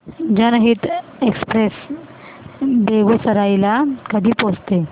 जनहित एक्सप्रेस बेगूसराई ला कधी पोहचते